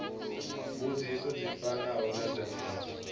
mbudziso dzi fanaho na dzenedzo